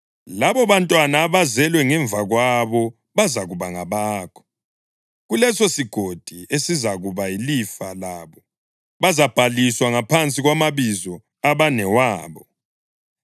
Labobantwana abazelwe ngemva kwabo bazakuba ngabakho; kulesosigodi esizakuba yilifa labo bazabhaliswa ngaphansi kwamabizo abanewabo.